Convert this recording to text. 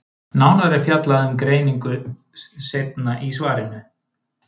nánar er fjallað um greiningu seinna í svarinu